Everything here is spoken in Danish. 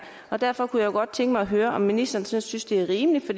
derfor kunne jeg godt tænke mig at høre om ministeren synes det er rimeligt